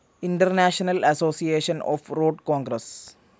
international association of road Congress